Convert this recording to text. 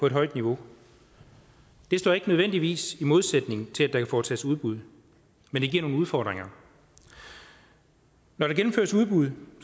et højt niveau det står nødvendigvis ikke i modsætning til det kan foretages udbud men det giver nogle udfordringer når der gennemføres udbud